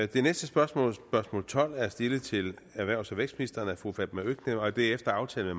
det næste spørgsmål spørgsmål tolv er stillet til erhvervs og vækstministeren af fru fatma øktem og det er efter aftale